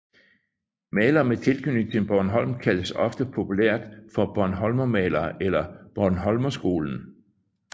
Malere med tilknytning til Bornholm kaldes ofte populært for bornholmermalerne eller bornholmerskolen